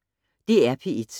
DR P1